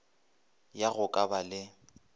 ya go ka ba le